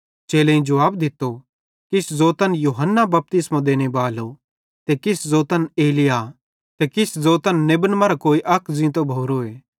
चेलेईं जुवाब दित्तो किछ ज़ोतन यूहन्ना बपतिस्मो देने बालो ते किछ ज़ोतन एलिय्याह ते किछ ज़ोतन नेबन मरां कोई अक ज़ींतो भोरोए